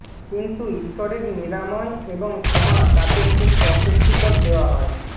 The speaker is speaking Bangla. কিন্তু ঈশ্বরের নিরাময় এবং ক্ষমা তাকে খুব অস্বস্তিকর দেওয়া হয়